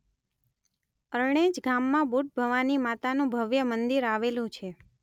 અરણેજ ગામમાં બુટભવાની માતાનું ભવ્ય મંદિર આવેલુ છે.